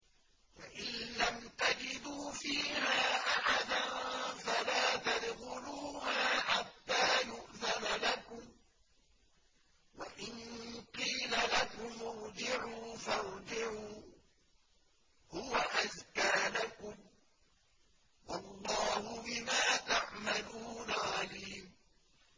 فَإِن لَّمْ تَجِدُوا فِيهَا أَحَدًا فَلَا تَدْخُلُوهَا حَتَّىٰ يُؤْذَنَ لَكُمْ ۖ وَإِن قِيلَ لَكُمُ ارْجِعُوا فَارْجِعُوا ۖ هُوَ أَزْكَىٰ لَكُمْ ۚ وَاللَّهُ بِمَا تَعْمَلُونَ عَلِيمٌ